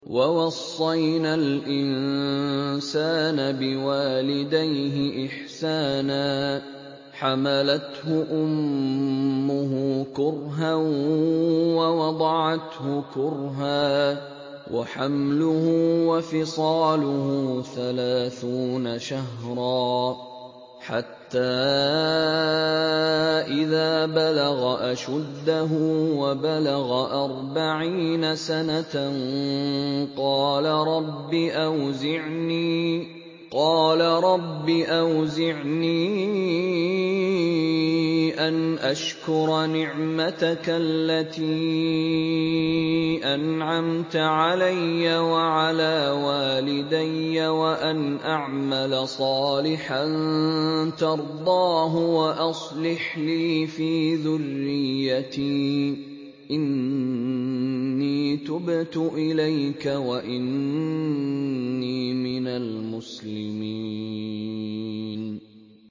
وَوَصَّيْنَا الْإِنسَانَ بِوَالِدَيْهِ إِحْسَانًا ۖ حَمَلَتْهُ أُمُّهُ كُرْهًا وَوَضَعَتْهُ كُرْهًا ۖ وَحَمْلُهُ وَفِصَالُهُ ثَلَاثُونَ شَهْرًا ۚ حَتَّىٰ إِذَا بَلَغَ أَشُدَّهُ وَبَلَغَ أَرْبَعِينَ سَنَةً قَالَ رَبِّ أَوْزِعْنِي أَنْ أَشْكُرَ نِعْمَتَكَ الَّتِي أَنْعَمْتَ عَلَيَّ وَعَلَىٰ وَالِدَيَّ وَأَنْ أَعْمَلَ صَالِحًا تَرْضَاهُ وَأَصْلِحْ لِي فِي ذُرِّيَّتِي ۖ إِنِّي تُبْتُ إِلَيْكَ وَإِنِّي مِنَ الْمُسْلِمِينَ